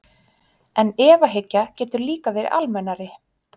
En efahyggja getur líka verið almennari.